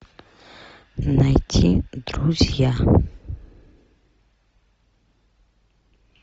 найти друзья